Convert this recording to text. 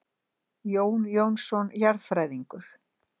Jón Jónsson jarðfræðingur.